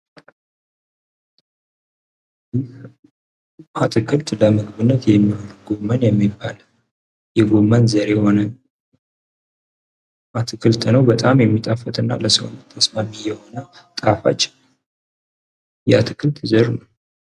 ይህ አትክልት ለምግብነት የሚውል ጎመን የሚባል የጎመን ዘር የሆነ አትክልት ነው። በጣም የሚጣፍጥ እና ለሰውነት ተስማሚ የሆነና ጣፋጭ የአትክልት ዘር ነው።